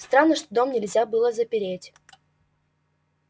странно что дом нельзя было запереть